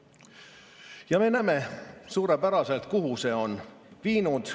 Ja me näeme suurepäraselt, kuhu see on viinud.